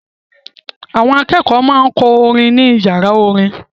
Àwọn akẹ́kọ̀ọ́ máa ń kọ́ orin ní ìyàrá orin.